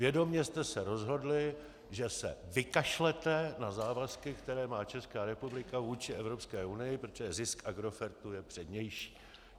Vědomě jste se rozhodli, že se vykašlete na závazky, které má Česká republika vůči Evropské unii, protože zisk Agrofertu je přednější.